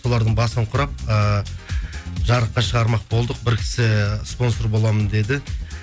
солардың басын құрап ыыы жарыққа шығармақ болдық бір кісі спонсор боламын деді